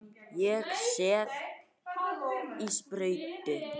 Hann var ekki snertur.